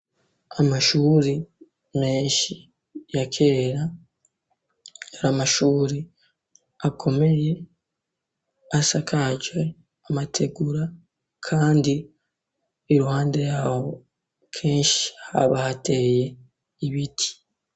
Amashuri menshi ya kera, yari amashuri akomeye asakaje amategura kandi iruhande yaho kenshi haba hateye ibiti.